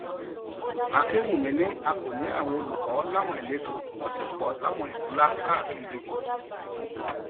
akínwùmí ni a kò ní àwọn olùkọ láwọn ìletò wọn sì pọ láwọn ìlú ńlá káàkiri